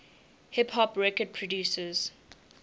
hip hop record producers